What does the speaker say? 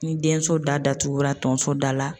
Ni den so da datugura tonso da la.